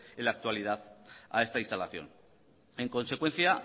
en la actualidad a esta instalación en consecuencia